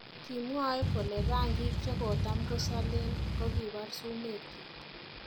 Kimwoe kole rangiik chekotam kosalen kokibar sumek kyik